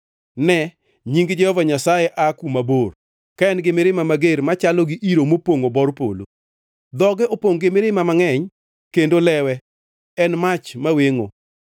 Ne, Nying Jehova Nyasaye aa kuma bor, ka en-gi mirima mager machalo gi iro mopongʼo bor polo; dhoge opongʼ gi mirima mangʼeny, kendo lewe en mach mawengʼo.